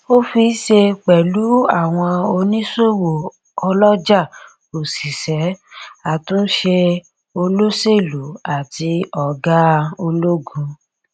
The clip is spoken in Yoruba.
ó fiṣe pẹlú àwọn oníṣòwò ọlọjà òṣìṣẹ àtúnṣe olóṣèlú àti ọgá ologun